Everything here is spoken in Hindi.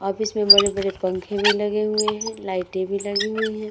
ऑफिस में बड़े-बड़े पंखे भी लगे हुए हैं। लाइटे भी लगी हुई हैं।